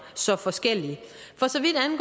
så forskellige